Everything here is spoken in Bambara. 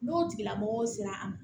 N'o tigilamɔgɔw sera a ma